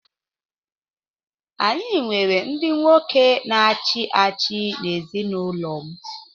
Anyị nwere ndị nwoke na-achị achị n’ezinụlọ m.